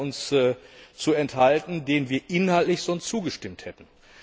uns zu enthalten, denen wir inhaltlich sonst zugestimmt hätten.